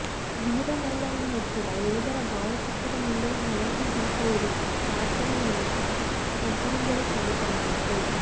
ವೀರಮರಣವನ್ನಪ್ಪಿದ ಯೋಧರ ಭಾವಚಿತ್ರದ ಮುಂದೆ ಹಣತೆ ದೀಪ ಉರಿಸಿ ಪ್ರಾರ್ಥನೆ ಮೂಲಕ ಶ್ರದ್ಧಾಂಜಲಿ ಸಲ್ಲಿಸಲಾಯಿತು